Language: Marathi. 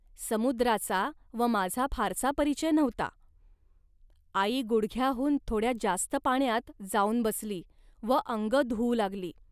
समुद्राचा व माझा फारसा परिचय नव्हता. आई गुडघ्याहून थोड्या जास्त पाण्यात जाऊन बसली व अंग धुऊ लागली